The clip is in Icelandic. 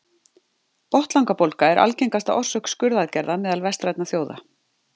Botnlangabólga er algengasta orsök skurðaðgerða meðal vestrænna þjóða.